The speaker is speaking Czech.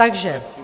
Takže.